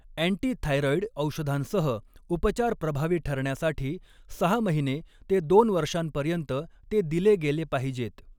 Antithyroid औषधांसह उपचार प्रभावी ठरण्यासाठी सहा महिने ते दोन वर्षांपर्यंत ते दिले गेले पाहिजेत.